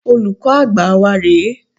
Olùkọ́ Àgbà wa rè é.